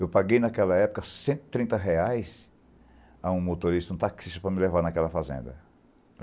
Eu paguei naquela época cento e trinta reais a um motorista, um taxista, para me levar naquela fazenda.